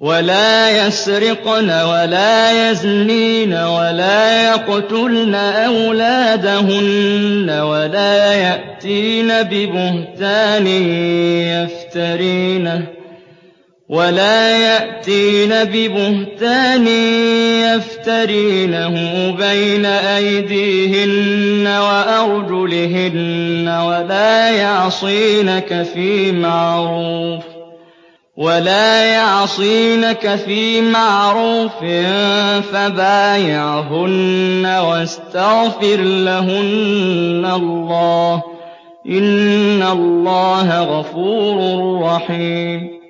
وَلَا يَسْرِقْنَ وَلَا يَزْنِينَ وَلَا يَقْتُلْنَ أَوْلَادَهُنَّ وَلَا يَأْتِينَ بِبُهْتَانٍ يَفْتَرِينَهُ بَيْنَ أَيْدِيهِنَّ وَأَرْجُلِهِنَّ وَلَا يَعْصِينَكَ فِي مَعْرُوفٍ ۙ فَبَايِعْهُنَّ وَاسْتَغْفِرْ لَهُنَّ اللَّهَ ۖ إِنَّ اللَّهَ غَفُورٌ رَّحِيمٌ